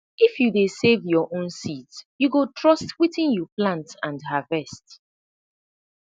if you dey save your own seeds you go trust wetin you plant and harvest